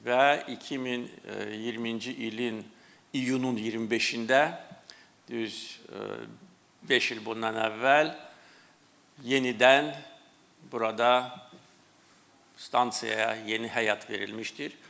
Və 2020-ci ilin iyunun 25-də düz beş il bundan əvvəl yenidən burada stansiyaya yeni həyat verilmişdir.